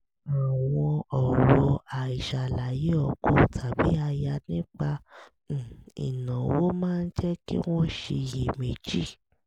àwọn ọ̀rọ̀ àìṣàlàyé ọkọ tàbí aya nípa um ìnáwó máa ń jẹ́ kí wọ́n ṣiyè méjì